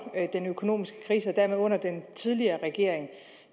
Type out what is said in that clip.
den økonomiske krise og dermed under den tidligere regering